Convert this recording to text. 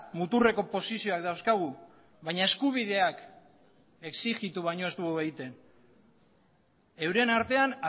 muturreko posizioak dauzkagu baina eskubideak exigitu baino ez dugu egiten euren artean